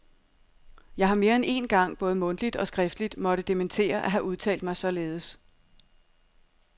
Jeg har mere end én gang både mundtligt og skriftligt måtte dementere at have udtalt mig således.